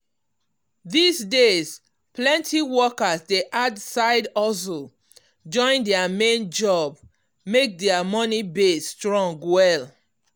these days plenty workers dey add side hustle um join their main job make their money base strong well.